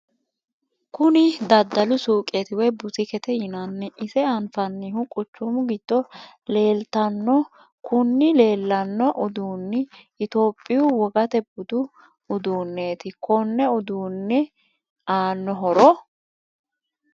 Kunni daddalu suuqeti woyi butuketi yinnanni. ise afanihu quchumu giddo leelitano kunni leelano uduunni ittoyoopiyu woggate budu uduuneti kunne uduunni aano horro.....